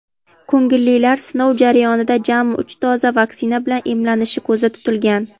Ko‘ngillilar sinov jarayonida jami uch doza vaksina bilan emlanishi ko‘zda tutilgan.